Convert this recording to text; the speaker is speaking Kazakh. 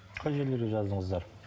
қай жерлерге жаздыңыздар